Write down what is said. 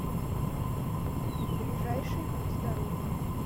ближайший будь здоров